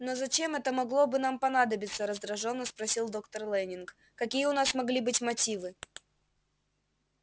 но зачем это могло бы нам понадобиться раздражённо спросил доктор лэннинг какие у нас могли быть мотивы